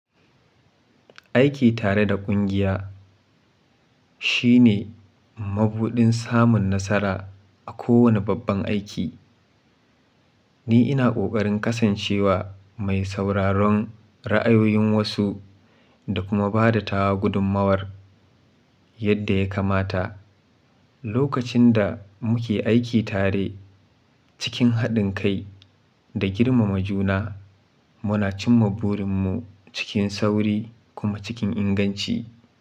Aiki tare da ƙungiya shine mabuɗin samun nasara a kowane babban aiki. Ni ina ƙoƙarin kasancewa mai sauraron ra'ayoyin wasu da kuma bada tawa gudummawar yadda ya kamata. Lokacin da muke aiki tare cikin haɗin kai da girmama juna, muna cimma burinmu cikin sauri kuma cikin inganci.